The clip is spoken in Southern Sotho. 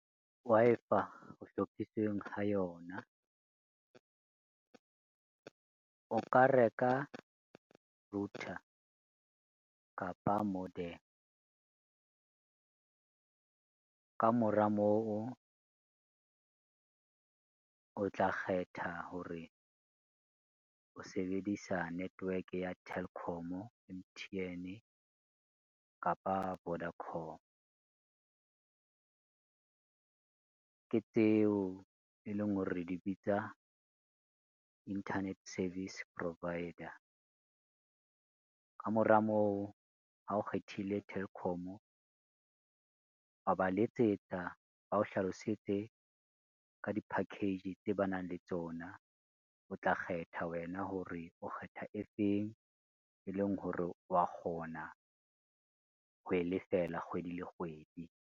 Wi-Fi ho hlophiseng ho yona, o ka reka router kapa modem. Ka mora moo, o tla kgetha hore o sebedisa network ya Telkom, M_T_N kapa Vodacom, ke tseo e leng hore di bitsa Internet Service Provider. Ka mora moo, ha o kgethile Telkom wa ba letsetsa ba o hlalosetse ka di-package tse ba nang le tsona, o tla kgetha wena hore o kgetha e feng e leng hore wa kgona ho e lefela kgwedi le kgwedi.